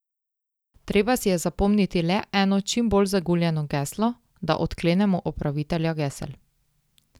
Treba si je zapomniti le eno čim bolj zaguljeno geslo, da odklenemo upravitelja gesel.